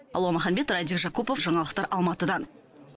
алуа маханбет радик жакупов жаңалықтар алматыдан